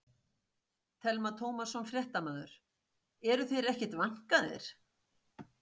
Telma Tómasson, fréttamaður: Eru þeir ekkert vankaðir?